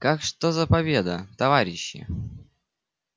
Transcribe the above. как что за победа товарищи